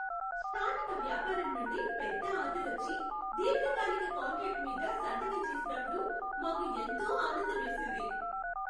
స్థానిక వ్యాపారం నుండి పెద్ద ఆర్డర్ వచ్చి, దీర్ఘకాలిక కాంట్రాక్టు మీద సంతకం చేసినప్పుడు మాకు ఎంతో ఆనందమేసింది.